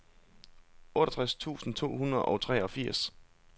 otteogtres tusind to hundrede og treogfirs